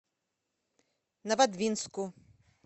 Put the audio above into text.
новодвинску